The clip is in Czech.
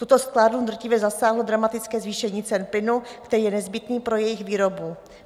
Tuto sklárnu drtivě zasáhlo dramatické zvýšení cen plynu, který je nezbytný pro jejich výrobu.